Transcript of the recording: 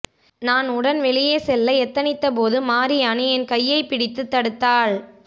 நான் உடன் வெளியே செல்ல எத்தனித்தபோது மாரியாணி என் கையைப் பிடித்து தடுத்தாள்